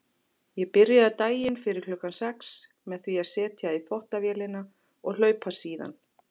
Ég byrjaði daginn fyrir klukkan sex með því að setja í þvottavélina og hlaupa síðan.